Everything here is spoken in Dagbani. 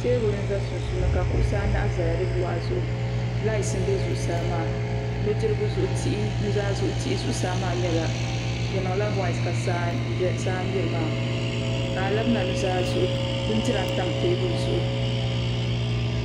Teebuli n za sunsuuni ka kuɣusi anahi zaya di luɣa zuɣu laati m be zuɣusaa maa nudirigu zuɣu tihi nuzaa zuɣu tihi di zuɣusaa maa mee di niŋla waati ka saa mmiri maa ka alabina nuzaa zuɣu bindira n tam teebuli zuɣu.